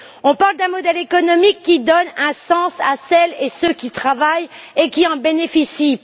Nous parlons d'un modèle économique qui donne un sens à celles et ceux qui travaillent et qui en bénéficient.